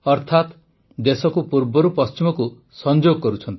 ଅର୍ଥାତ୍ ଦେଶକୁ ପୂର୍ବରୁ ପଶ୍ଚିମକୁ ସଂଯୋଗ କରୁଛନ୍ତି